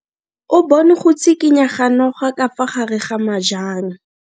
O bone go tshikinya ga noga ka fa gare ga majang.